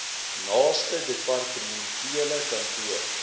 naaste departementele kantoor